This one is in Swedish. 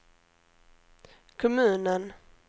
kommunen